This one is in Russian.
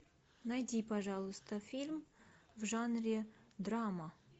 найди пожалуйста фильм в жанре драма